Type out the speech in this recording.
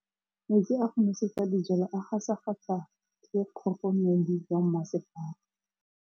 Metsi a go nosetsa dijalo a gasa gasa ke kgogomedi ya masepala.